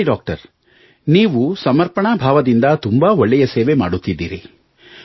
ಸರಿ ಡಾಕ್ಟರ್ ನೀವು ಸಮರ್ಪಣಾಭಾವದಿಂದ ತುಂಬಾ ಒಳ್ಳೆಯ ಸೇವೆ ಮಾಡುತ್ತಿದ್ದೀರಿ